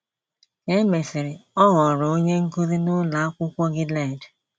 Ka e mesịrị, ọ ghọrọ onye nkụzi n’Ụlọ Akwụkwọ Gilead.